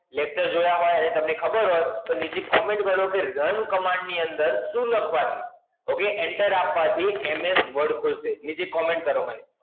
Latest જોયા હોય અને તમને ખબર હોય, તો નીચે comment કરો કે Run command ની અંદર શું લખવાથી, એટલે Enter આપવાથી MS Word ખુલશે. નીચે comment કરો મને